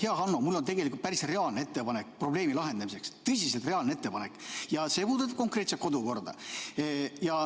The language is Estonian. Hea Hanno, mul on tegelikult päris reaalne ettepanek probleemi lahendamiseks, tõsiselt reaalne ettepanek, ja see puudutab konkreetselt kodukorda.